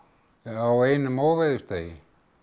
á einum óveðursdegi